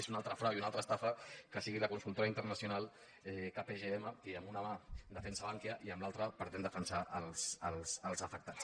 és un altre frau i una al·tra estafa que sigui la consultora internacional kpgm qui amb una mà defensa bankia i amb l’altra pretén defensar els afectats